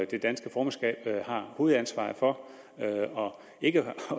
det danske formandsskab har hovedansvaret for ikke at